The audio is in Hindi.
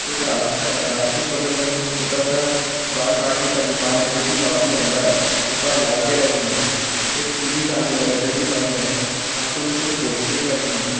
एक रास्ता है रास्ते के बगल में एक छोटा-सा बाल काटने का दुकान है जो कि काफी लम्बा है। ऊपर लाइटें लगी हैं एक टी_वी सामने लगा है जो कि बंद हैं काँचों में कुछ पोस्टरें लगी हैं।